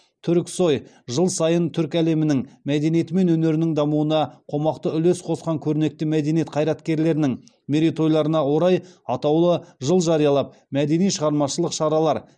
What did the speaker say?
түрксой жыл сайын түркі әлемінің мәдениеті мен өнерінің дамуына қомақты үлес қосқан көрнекті мәдениет қайраткерлерінің мерейтойларына орай атаулы жыл жариялап мәдени шығармашылық шаралар